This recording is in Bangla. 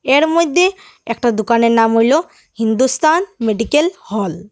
এর মইদ্যে একটা দোকানের নাম হইল হিন্দুস্থান মেডিকেল হল ।